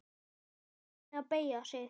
Skipar henni að beygja sig.